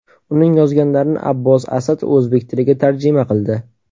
Uning yozganlarini Abbos Asad o‘zbek tiliga tarjima qildi .